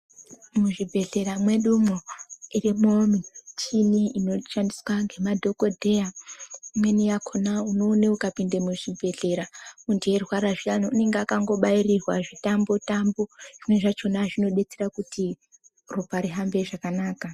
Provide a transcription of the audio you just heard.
Muzvibhedhlera mwedumwo imweni muchini inoshandiswa nemadhokodheya imweni yakona inoona ikapinda muzvibhedhlera zveirwara zviyani zvimweni zvacho zvinodetsera kuti ropa rihambe zvakanaka.